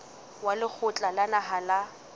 wa lekgotla la naha la